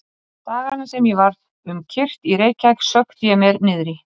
Dagana sem ég var um kyrrt í Reykjavík sökkti ég mér niðrí